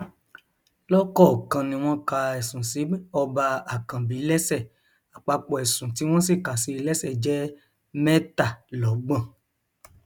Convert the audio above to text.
lọkọọkan ni wọn ka ẹsùn sí ọba àkànbí lẹsẹ àpapọ ẹsùn tí wọn sì kà sí i lẹsẹ jẹ mẹtàlọgbọn